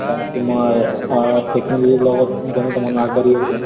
বা তোমাৰ আ technology ৰ লগত যেনেকা মানুহ আগ বাঢ়ি আছে ।